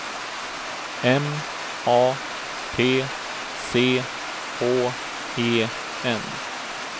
M A T C H E N